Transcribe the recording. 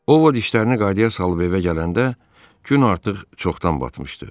Ovod işlərini qaydaya salıb evə gələndə gün artıq çoxdan batmışdı.